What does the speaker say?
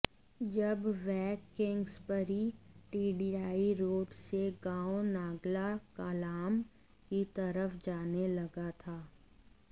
जब वह Kingsbury TDI road से गांव नांगल कलां की तरफ जाने लगा था